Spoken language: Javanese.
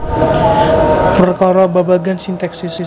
Perkara babagan sintaksis